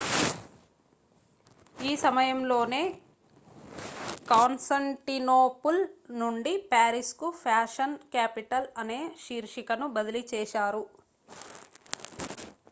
ఈ సమయంలోనే కాన్స్టాంటినోపుల్ నుండి పారిస్ కు ఫ్యాషన్ క్యాపిటల్ అనే శీర్షికను బదిలీ చేశారు